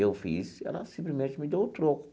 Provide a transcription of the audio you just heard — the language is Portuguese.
Eu fiz e ela simplesmente me deu o troco.